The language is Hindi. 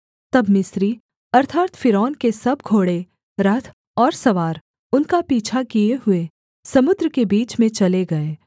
तब मिस्री अर्थात् फ़िरौन के सब घोड़े रथ और सवार उनका पीछा किए हुए समुद्र के बीच में चले गए